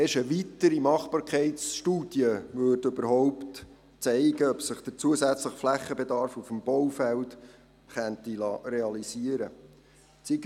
Erst eine weitere Machbarkeitsstudie würde zeigen, ob der zusätzliche Flächenbedarf auf dem Baufeld realisiert werden könnte.